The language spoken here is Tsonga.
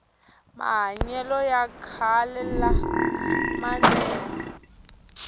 mahanyele ya khale la manenge